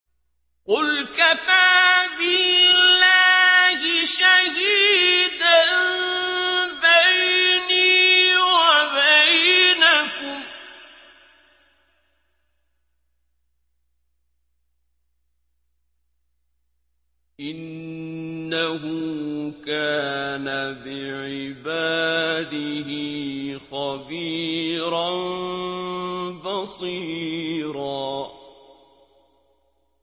قُلْ كَفَىٰ بِاللَّهِ شَهِيدًا بَيْنِي وَبَيْنَكُمْ ۚ إِنَّهُ كَانَ بِعِبَادِهِ خَبِيرًا بَصِيرًا